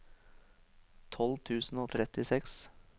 tolv tusen og trettiseks